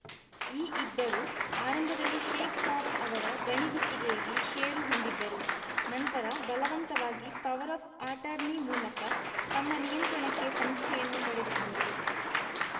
ಈ ಇಬ್ಬರು ಆರಂಭದಲ್ಲಿ ಶೇಖ್‌ಸಾಬ್‌ ಅವರ ಗಣಿ ಗುತ್ತಿಗೆಯಲ್ಲಿ ಷೇರು ಹೊಂದಿದ್ದರು ನಂತರ ಬಲವಂತವಾಗಿ ಪವರ್‌ ಆಫ್‌ ಆಟಾರ್ನಿ ಮೂಲಕ ತಮ್ಮ ನಿಯಂತ್ರಣಕ್ಕೆ ಸಂಸ್ಥೆಯನ್ನು ಪಡೆದುಕೊಂಡರು